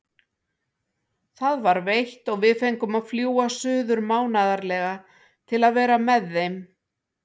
Það var veitt og við fengum að fljúga suður mánaðarlega til að vera með þeim.